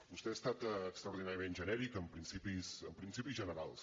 vostè ha estat extraordinàriament genèric en principis generals